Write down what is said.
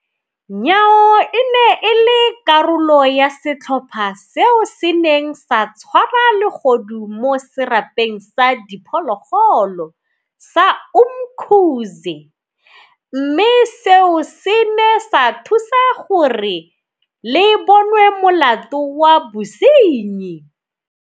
Nyawo e ne e le karolo ya setlhopha seo se neng sa tshwara legodu mo Serapeng sa Di phologolo sa Umkhuze, mme seo se ne sa thusa gore le bonwe molato wa bosenyi.